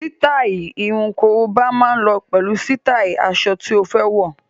Sítáì irun korobá máa lọ pẹ̀lú sítáì aṣọ tí ó fẹ́ wọ̀.